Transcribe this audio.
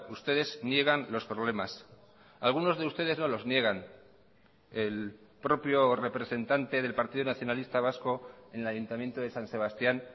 ustedes niegan los problemas algunos de ustedes no los niegan el propio representante del partido nacionalista vasco en el ayuntamiento de san sebastián